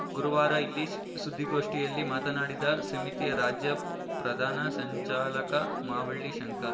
ಗುರುವಾರ ಇಲ್ಲಿ ಸುದ್ಧಿಗೋಷ್ಠಿಯಲ್ಲಿ ಮಾತನಾಡಿದ ಸಮಿತಿಯ ರಾಜ್ಯ ಪ್ರಧಾನ ಸಂಚಾಲಕ ಮಾವಳ್ಳಿ ಶಂಕರ್